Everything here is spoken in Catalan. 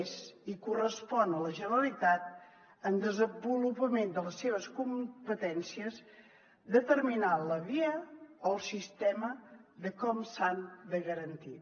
és i correspon a la generalitat en el desenvolupament de les seves competències determinar la via o el sistema de com s’han de garantir